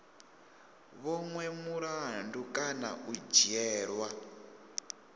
vhonwe mulandu kana u dzhielwa